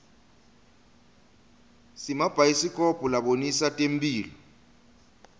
simabhayisikobho labonisa temphilo